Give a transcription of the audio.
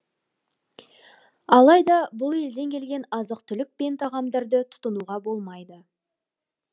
алайда бұл елден келген азық түлік пен тағамдарды тұтынуға болмайды